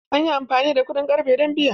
An yi amfani da kuɗin ƙarfe don biya.